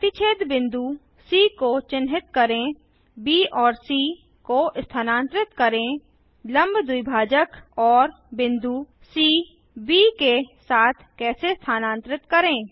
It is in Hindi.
प्रतिच्छेद बिंदु सी को चिन्हित करें ब और सी को स्थानांतरित करें लंब द्विभाजक और बिंदु सी ब के साथ कैसे स्थानांतरित करें